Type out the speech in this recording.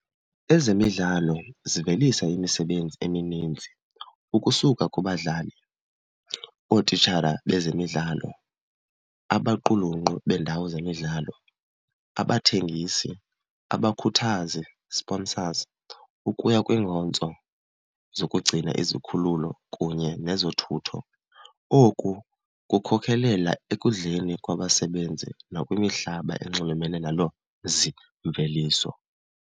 Ezemidlalo zivelisa imisebenzi emininzi, ukusuka kubadlali, ootitshara bezemidlalo, abaqulunqi beendawo zemidlalo, abathengisi, abakhuthazi, sponsors, ukuya kwiinkonzo zokugcina izikhululo kunye nezothutho. Oku kukhokhelela ekudleni kwabasebenzi nakwimihlaba enxulumene naloo mzimveliso.